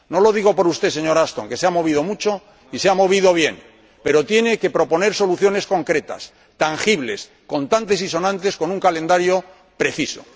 No lo digo por usted, señora Ashton, que se ha movido mucho y se ha movido bien, pero tiene que proponer soluciones concretas, tangibles, contantes y sonantes, con un calendario preciso.